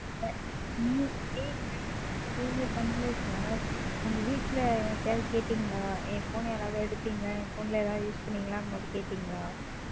Sir நீ நீங்க பண்ணலை Sir உங்க வீட்டுல யார்ட்டயாவது கேட்டீங்களா? என் Phone ஐ யார் எடுத்தீங்க யாராவது Use பண்ணீங்களான்னு மட்டும் கேட்டீங்களா?